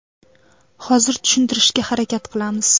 Hozir tushuntirishga harakat qilamiz.